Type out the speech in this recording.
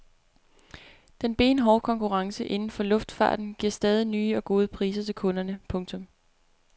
Den benhårde konkurrence inden for luftfarten giver stadig nye og gode priser til kunderne. punktum